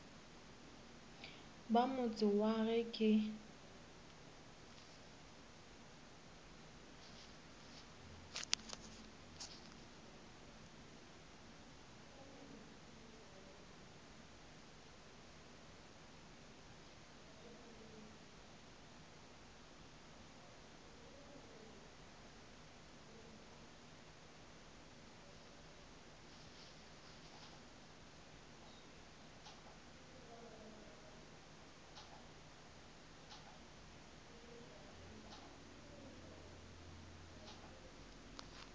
ba motse wa ge ke